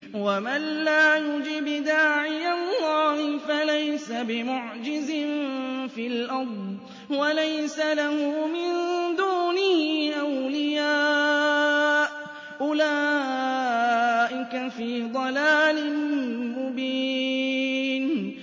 وَمَن لَّا يُجِبْ دَاعِيَ اللَّهِ فَلَيْسَ بِمُعْجِزٍ فِي الْأَرْضِ وَلَيْسَ لَهُ مِن دُونِهِ أَوْلِيَاءُ ۚ أُولَٰئِكَ فِي ضَلَالٍ مُّبِينٍ